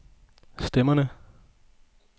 stemmerne